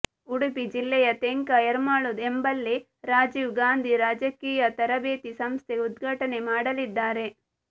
ಉಡುಪಿ ಜಿಲ್ಲೆಯ ತೆಂಕ ಎರ್ಮಾಳು ಎಂಬಲ್ಲಿ ರಾಜೀವ್ ಗಾಂಧಿ ರಾಜಕೀಯ ತರಬೇತಿ ಸಂಸ್ಥೆ ಉದ್ಘಾಟನೆ ಮಾಡಲಿದ್ದಾರೆ